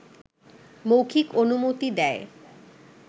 মৌখিক অনুমতি দেয়